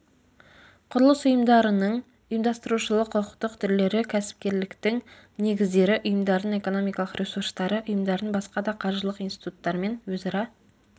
құрылыс ұйымдарының ұйымдастырушылық құқықтық түрлері кәсіпкерліктің негіздері ұйымдардың экономикалық ресурстары ұйымдардың басқа да қаржылық институттармен өзара